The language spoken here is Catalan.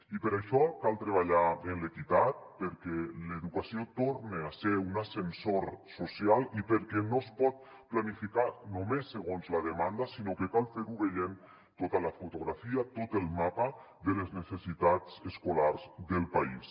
i per això cal treballar en l’equitat perquè l’educació torne a ser un ascensor social i perquè no es pot planificar només segons la demanda sinó que cal fer·ho veient tota la fotografia tot el mapa de les ne·cessitats escolars del país